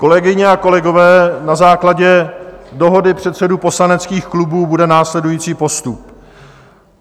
Kolegyně a kolegové, na základě dohody předsedů poslaneckých klubů bude následující postup.